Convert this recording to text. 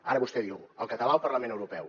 ara vostè diu el català al parlament europeu